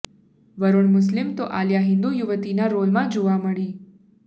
વરૂણ મુસ્લિમ તો આલિયા હિન્દુ યુવતીનાં રોલમાં જોવા મળી